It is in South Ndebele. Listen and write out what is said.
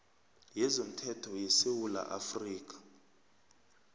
yezomthetho yesewula afrika